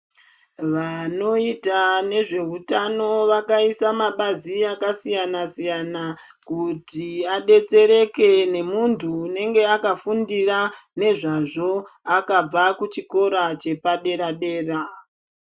Vanoita nezvehutano vakaisa mabazi akasiyana siyana kuti adetsereke nemuntu unenge akafundira nezvazvo akabva kuchikora chepadera dera .